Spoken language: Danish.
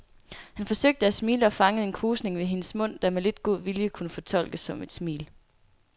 Han forsøgte at smile og fangede en krusning ved hendes mund, der med lidt god vilje kunne fortolkes som et smil.